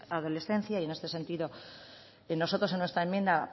adolescencia y en este sentido nosotros en nuestra enmienda